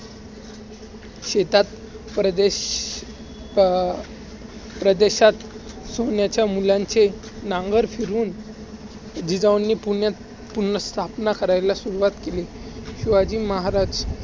शेतात प्रदेश~ अं प्रदेशात सोन्याच्या मूल्यांचे नांगर फिरून जिजाऊंनी पुण्यात पुन्हा स्थापना करायला सुरुवात केली. शिवाजी महाराज शेतात